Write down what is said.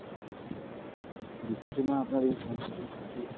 দুঃখিত ma'am আপনার এই সমস্যার জন্য সত্যি।